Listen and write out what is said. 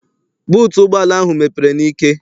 Buutu ụgbọala ahụ mepere n'ike.